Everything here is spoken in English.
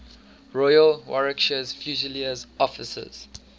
royal warwickshire fusiliers officers